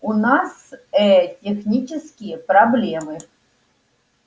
у нас ээ технические проблемы